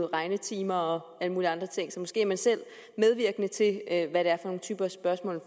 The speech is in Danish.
regnetimer og alle mulige andre ting så måske er man selv medvirkende til at få den type spørgsmål